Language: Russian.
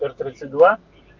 р тридцать два